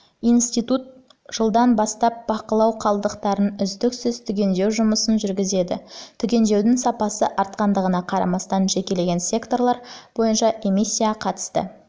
институт жылдан бастап бақылауымен қалдықтарды үздіксіз түгендеу жұмысын жүргізеді түгендеудің сапасы артқандығына қарамастан жекелеген секторлар бойынша эмиссияға қатысты